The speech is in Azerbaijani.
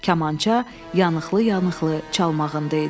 Kamança yanıqlı-yanıqlı çalmağında idi.